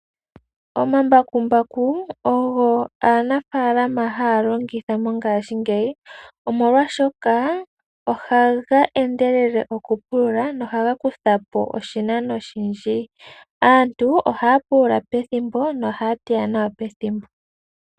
Omambakumbaku ogo haga longithwa kaanafaalama mongashingeyi oshoka ohaga endelele okupulula go ohaga kutha po oshinano oshindji. Aantu ohaya pulula pethimbo, yo ohaya teya nawa pethimbo.